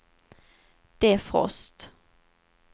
defrost